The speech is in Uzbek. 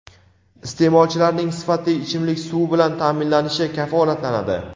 isteʼmolchilarning sifatli ichimlik suvi bilan taʼminlanishi kafolatlanadi.